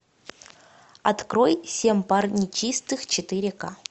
открой семь пар нечистых четыре к